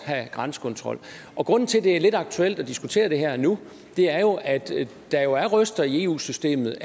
have grænsekontrol grunden til at det er lidt aktuelt at diskutere det her og nu er jo at der er røster i eu systemet